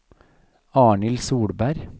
Arnhild Solberg